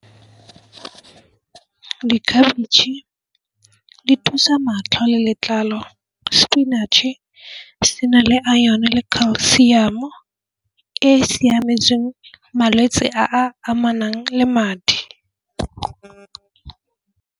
Ke dikhabitšhe di thusa matlho le letlalo spinach-e sena le iron le calcium e siametseng malwetse a a amanang le madi.